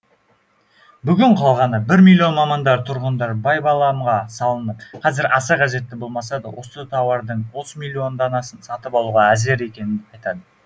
бүгін қалғаны бір миллион мамандар тұрғындар байбаламға салынып қазір аса қажет болмаса да осы тауардың отыз миллион данасын сатып алуға әзір екенін айтады